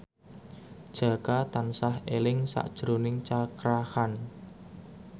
Jaka tansah eling sakjroning Cakra Khan